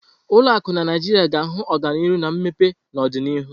Ụlọ akụ na Naijiria ga-ahụ ọganihu na mmepe n'ọdịnihu.